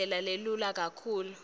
indlela lelula kakhulu